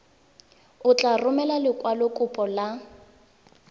o tla romela lekwalokopo la